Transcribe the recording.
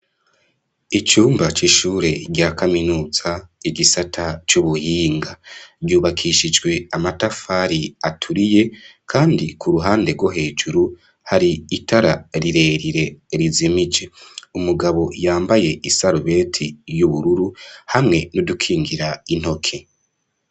Icumba c'ishure rya kaminuza igisata c'ubuhinga ryubakishijwe amatafari aturiye, kandi ku ruhande rwo hejuru hari itara rirerire rizimije ,umugabo yambaye isarubeti y'ubururu hamwe nudukingira intoke.